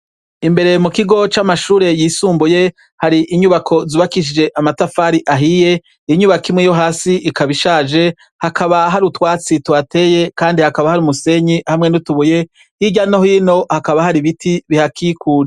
Imbere mu kigo c'amashure yisumbuye, har 'inyubako zubakishijwe amatafari ahiye, inyubako imwe yohasi ikaba ishaje .Hakaba hari utwatsi tuhateye, kandi hakaba hari umusenyi, hamwe n'utubuye . Hirya no hino hakaba hari ibiti bihakikuje.